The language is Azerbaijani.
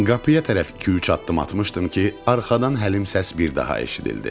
Qapıya tərəf iki-üç addım atmışdım ki, arxadan həlim səs bir daha eşidildi.